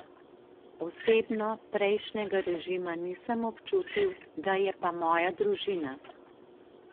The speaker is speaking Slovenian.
Osebno prejšnjega režima nisem občutil, ga je pa moja družina.